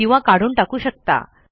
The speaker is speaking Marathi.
किंवा काढून टाकू शकता